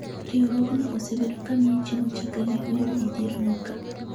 Riwruogno osebedo ka miye chiemo chakre ne oyud midhierono.ka